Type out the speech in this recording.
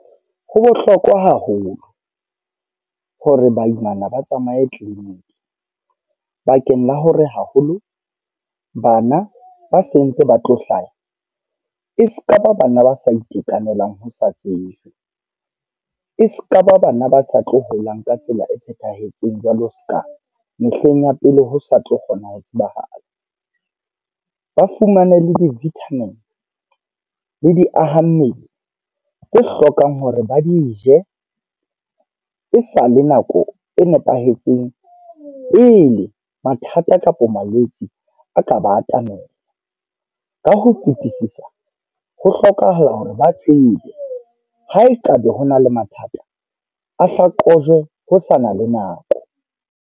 Ho bohlokwa haholo, hore baimana ba tsamaye clinic. Bakeng la hore haholo bana ba se ntse ba tlo hlaha, e se kaba bana ba sa itekanelang ho sa tsejwe. E sekaba bana ba sa tlo holang ka tsela e phethahetseng jwalo seka mehleng ya pele ho sa tlo kgona ho tsebahala. Ba fumane le di-vitamin, le di aha mmele tse hlokang hore ba di je, e sa le nako e nepahetseng. Pele mathata kapa malwetse a ka ba atamela. Ka ho fitisisa, ho hlokahala hore ba tsebe. Ha e kaba ho na le mathata, a hla qojwe ho sa na le nako.